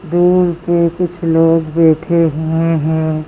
दूर पे कुछ लोग बैठे हुए हैं।